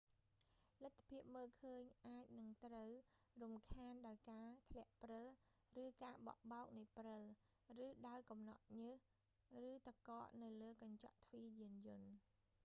លទ្ធភាពមើលឃើញ អាចនឹងត្រូវរំខានដោយការធ្លាក់ព្រិល ឬការបក់បោកនៃព្រិល ឬដោយកំណកញើស ឬទឹកកកនៅលើកញ្ចក់ទ្វារយានយន្ត